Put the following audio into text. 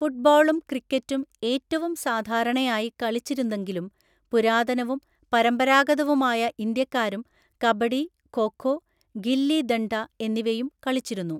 ഫുട്ബോളും ക്രിക്കറ്റും ഏറ്റവും സാധാരണയായി കളിച്ചിരുന്നെങ്കിലും, പുരാതനവും പരമ്പരാഗതവുമായ ഇന്ത്യക്കാരും കബഡി, ഖോ ഖോ, ഗില്ലി ദണ്ഡ എന്നിവയും കളിച്ചിരുന്നു.